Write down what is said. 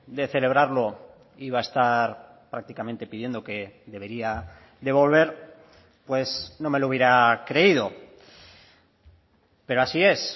de celebrarlo iba a estar prácticamente pidiendo que debería de volver pues no me lo hubiera creído pero así es